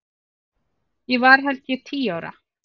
Ég var held ég tíu ára.